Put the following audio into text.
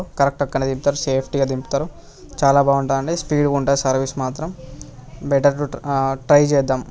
Correct అక్కడే దింపుతార్ safety గా దింపుతార్ చాలా బాగుంటది స్పీడ్ గా ఉంటది సర్వీస్ మాత్రం. బెటర్ చేదాం.